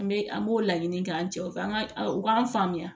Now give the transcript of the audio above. An bɛ an b'o laɲini k'an cɛ k'an ka u k'an faamuya